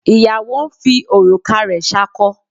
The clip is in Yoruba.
Ìyàwó ń fi òrùka rẹ̀ ṣakọ.